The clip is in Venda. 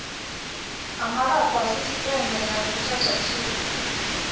ha malaṱwa sisiṱeme ya vhuthathatshili